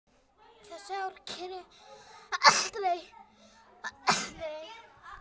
Það sár greri aldrei.